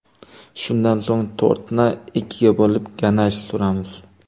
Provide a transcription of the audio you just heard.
Shundan so‘ng tortni ikkiga bo‘lib, ganash suramiz.